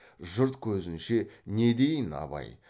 жұрт көзінше не дейін абай